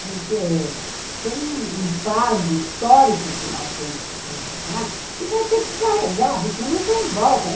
Porque tem um fardo histórico que nós temos que carregar e vai ter que carregar, porque não tem volta.